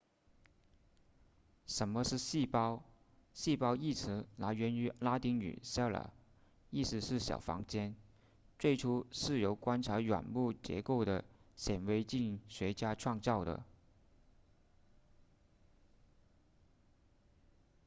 什么是细胞细胞一词来源于拉丁语 cella 意思是小房间最初是由观察软木结构的显微镜学家创造的